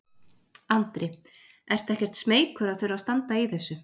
Andri: Ertu ekkert smeykur að þurfa að standa í þessu?